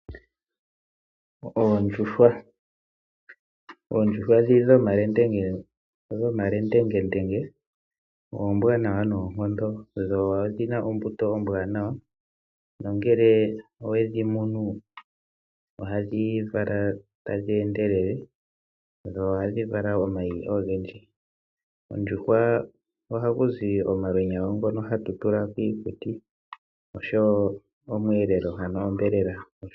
Oondjuhwa ndhi dhomalengendenge oombwanawa noonkondo, dho odhina ombuto ombwaanawa, no ngele owe dhi mono, oha dhi vala tadhi endelele, dho oha dhi vala omayi ove ndji. Koondjuhwa oha ku zi omalwenya ngono ha tu tula kiikutu, osho wo omweelelo.